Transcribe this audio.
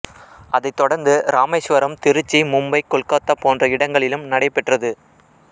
அதைத் தொடர்ந்து ராமேஸ்வரம் திருச்சி மும்பை கொல்கத்தா போன்ற இடங்களிலும் நடைபெற்றது